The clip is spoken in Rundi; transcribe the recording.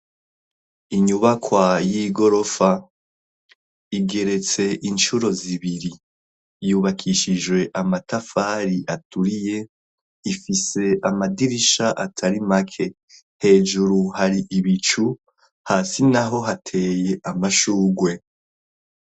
Inyubakwa y'igorofa igeretse incuro zibiri yubakishijwe amatafari aturiye ifise amadirisha atari make; hejuru hari ibicu, hasi naho hateye amashurwe.